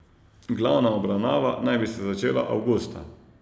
Glavna obravnava naj bi se začela avgusta.